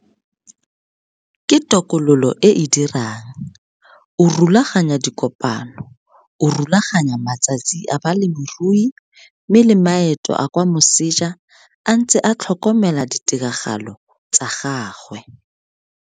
Ke tokololo e e dirang, o rulaganya dikopano, o rulaganya matsatsi a balemirui mme le maeto a kwa moseja a ntse a tlhokomela ditiragalo tsa gagwe.